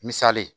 Misali ye